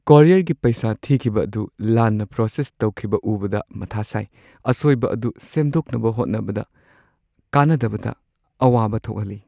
ꯀꯣꯔꯤꯌꯔꯒꯤ ꯄꯩꯁꯥ ꯊꯤꯈꯤꯕ ꯑꯗꯨ ꯂꯥꯟꯅ ꯄ꯭ꯔꯣꯁꯦꯁ ꯇꯧꯈꯤꯕ ꯎꯕꯗ ꯃꯊꯥ ꯁꯥꯏ, ꯑꯁꯣꯏꯕ ꯑꯗꯨ ꯁꯦꯝꯗꯣꯛꯅꯕ ꯍꯣꯠꯅꯕꯗ ꯀꯥꯟꯅꯗꯕꯗ ꯑꯋꯥꯕ ꯊꯣꯛꯍꯜꯂꯤ ꯫